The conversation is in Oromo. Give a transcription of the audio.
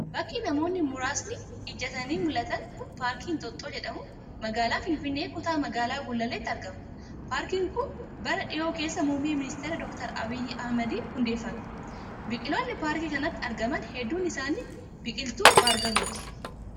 Bakki namoonni muraasni ijjatanii mul'atan kun, paarkii Inxooxxoo jedhamu magaalaa Finfinnee, kutaa magaalaa Gullalleetti argama. Paarkiin kun, bara dhihoo keessa muummee ministeeraa, Doktar Abiyyi Ahimadiin hundeeffame. Biqiltoonni paarkii kanatti argaman hedduun isaanii biqiltuu baargamooti.